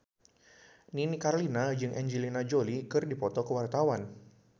Nini Carlina jeung Angelina Jolie keur dipoto ku wartawan